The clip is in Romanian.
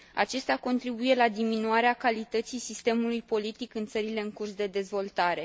Acestea contribuie la diminuarea calității sistemului politic în țările în curs de dezvoltare.